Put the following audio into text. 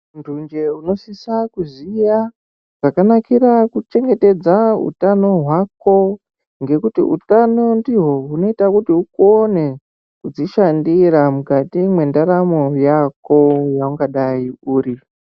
Munthu nje unosisa kuziya, zvakanakira kuchengetedza utano hwako, ngekuti utano ndihwo hunoita kuti ukone kudzishandira, mukati mwendaramo yako yeungadai uri.